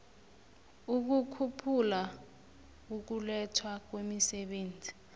ukukhuphula ukulethwa kwemisebenzi